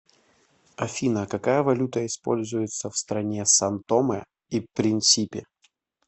афина какая валюта используется в стране сан томе и принсипи